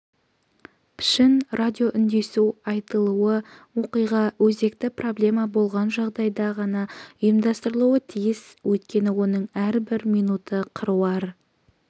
пішін радиоүндесу айтулы оқиға өзекті проблема болған жағдайда ғана ұйымдастырылуы тиіс өйткені оның әрбір минуты қыруар